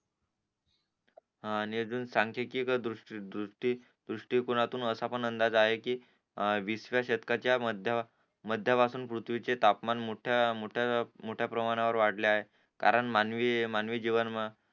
आणि अजून संख्याकिक द्रुष्टी त्रिकोणातून असा पण अंदाज आहे कि वीसव्या शतकाच्या मध्या वर मध्य पासून पृथ्वीचे तापमान मोठ्या मोठ्या प्रमाणावर वाढले आहे कारण मानवी मानवी जीवन